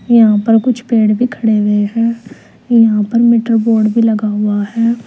यहां पर कुछ पेड़ भी खड़े हुए है यहां पर मीटर बोर्ड भी लगा हुआ है।